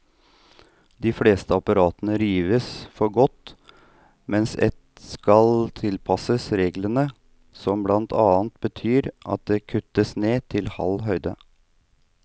De fleste apparatene rives for godt, mens ett skal tilpasses reglene, som blant annet betyr at det kuttes ned til halv høyde.